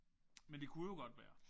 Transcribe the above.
Men det kunne jo godt være